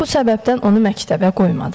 Bu səbəbdən onu məktəbə qoymadılar.